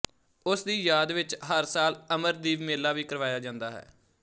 ਉਸ ਦੀ ਯਾਦ ਵਿੱਚ ਹਰ ਸਾਲ ਅਮਰਦੀਪ ਮੇਲਾ ਵੀ ਕਰਵਾਇਆ ਜਾਂਦਾ ਹੈ